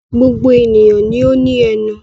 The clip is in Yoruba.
Gbogbo ènìyàn ni ó ní ẹnu.